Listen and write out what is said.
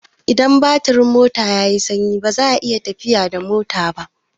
Idan batirin mota yai sanyi baza a iya tafiya da mota ba